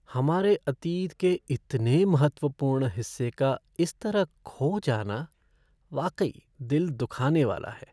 हमारे अतीत के इतने महत्वपूर्ण हिस्से का इस तरह खो जाना, वाकई दिल दुखाने वाला है।